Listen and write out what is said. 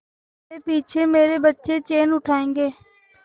मेरे पीछे मेरे बच्चे चैन उड़ायेंगे